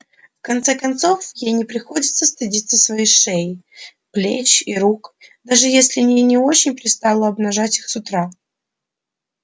в конце концов ей не приходится стыдиться своей шеи плеч и рук даже если и не очень пристало обнажать их с утра